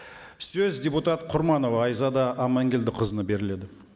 сөз депутат құрманова айзада аманкелдіқызына беріледі